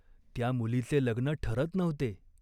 त्या मुलीचे लग्न ठरत नव्हते.